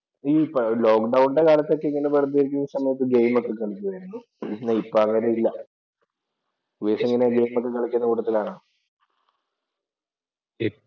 ഈ ലോക്ക് ഡൌണിന്‍റെ കാലത്ത് ഇങ്ങനെ വെറുതെ ഇരിക്കുന്ന സമയത്ത് ഒക്കെ ഗെയിം ഒക്കെ കളിക്കുമായിരുന്നു ഇപ്പൊ അങ്ങനെയില്ല. ഉപേഷ് എങ്ങനെയാ ഗെയിം ഒക്കെ കളിക്കുന്ന കൂട്ടത്തിലാണോ?